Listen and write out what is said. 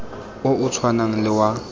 o o tshwanang le wa